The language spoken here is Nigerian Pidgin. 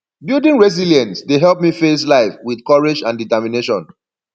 building resilience dey help me face life with courage and determination